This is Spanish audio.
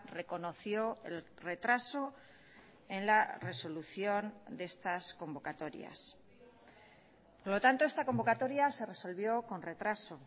reconoció el retraso en la resolución de estas convocatorias por lo tanto esta convocatoria se resolvió con retraso